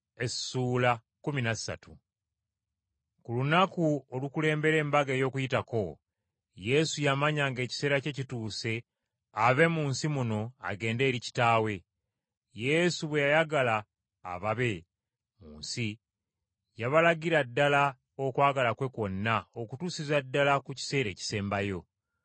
Ku lunaku olukulembera Embaga ey’Okuyitako, Yesu yamanya ng’ekiseera kye kituuse ave mu nsi muno agende eri Kitaawe. Yesu bwe yayagala ababe mu nsi, yabalagira ddala okwagala kwe kwonna okutuusiza ddala ku kiseera ekisembayo.